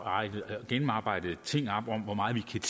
gennemarbejdede ting op om hvor meget vi kan